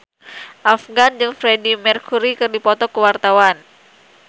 Afgan jeung Freedie Mercury keur dipoto ku wartawan